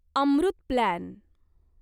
Amrut plan